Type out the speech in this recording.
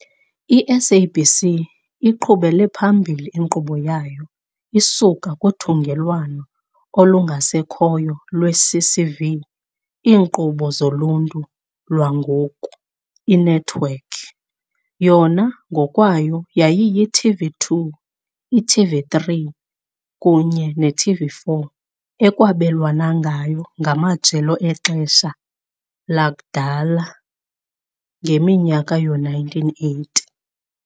I-SABC 1 iqhubele phambili inkqubo yayo isuka kuthungelwano olungasekhoyo lweCCV IiNqobo zoLuntu lwangoku inethiwekhi, yona ngokwayo yayiyi-TV2, i-TV3 kunye ne-TV4 ekwabelwana ngayo ngamajelo exesha adalwa ngeminyaka yoo-1980.